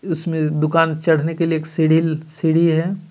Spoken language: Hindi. इसमें दूकान चढने के लिए एक सीढ़ी अ सीढ़ी हे.